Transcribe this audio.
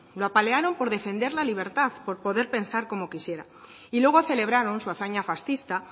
lo apalearon por defender la libertad por poder pensar como quisiera y luego celebraron su hazaña fascista